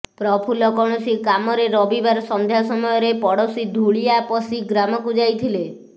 ପ୍ରଫୁଲ୍ଲ କୌଣସି କାମରେ ରବିବାର ସଂନ୍ଧ୍ଯା ସମୟରେ ପଡୋସି ଧୂଳିଆପଷି ଗ୍ରାମକୁ ଯାଇଥିଲେ